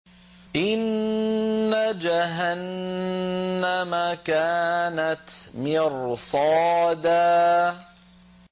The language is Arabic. إِنَّ جَهَنَّمَ كَانَتْ مِرْصَادًا